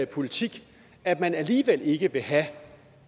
politik at man alligevel ikke vil have